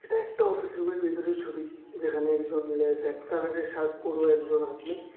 এটা একটা অফিস রুমের ভিতরের ছবি যেখানে কিছু লে রেড কালারের শার্ট পোরো একজন আদমি।